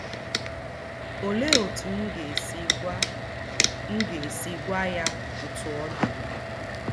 Olee otú m ga-esi gwa m ga-esi gwa ya otú ọ dị m?